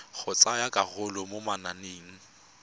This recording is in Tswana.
go tsaya karolo mo mananeng